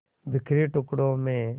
बिखरे टुकड़ों में